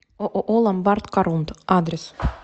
ооо ломбард корунд адрес